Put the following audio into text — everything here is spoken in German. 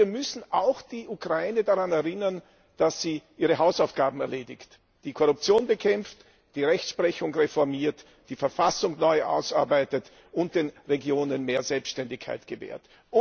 Und wir müssen auch die Ukraine daran erinnern, dass sie ihre Hausaufgaben erledigt, die Korruption bekämpft, die Rechtsprechung reformiert, die Verfassung neu ausarbeitet und den Regionen mehr Selbstständigkeit gewährt.